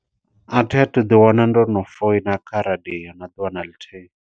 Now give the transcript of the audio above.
A thi athu u ḓi wana ndo no foina kha radio na ḓuvha na ḽithihi.